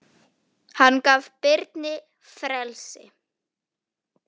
Hann gaf Birni frelsi.